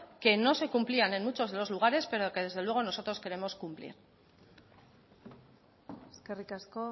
que no se cumplían en muchos de los lugares pero que desde luego nosotros queremos cumplir eskerrik asko